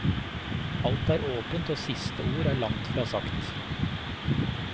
Alt er åpent og siste ord er langt fra sagt.